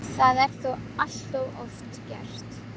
Það er þó allt of oft gert.